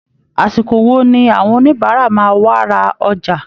Àsìkò wo ni àwọn oníbàárà máa wá ra ọjà!